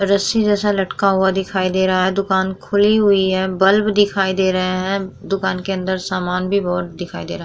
रस्सी जैसा लटका हुआ दिखाई दे रहा है दुकान खुली हुई है बल्ब दिखाई दे रहे हैं दुकान के अंदर सामान भी बहुत दिखाई दे रहा है।